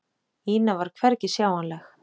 Ína var hvergi sjáanleg.